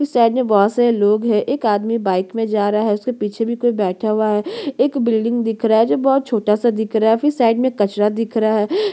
इस साइड में बहोत सारे लोग है एक आदमी बाइक में जा रहा है उसके पीछे भी कोई बैठा हुआ है एक बिलडिंग दिख रहा है जो बहोत छोटा सा दिख रहा है फिर साइड में कचड़ा दिख रहा है।